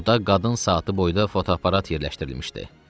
Orda qadın saatı boyda fotoaparat yerləşdirilmişdi.